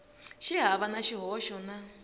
xi hava na xihoxo na